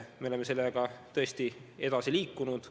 Me oleme sellega tõesti edasi liikunud.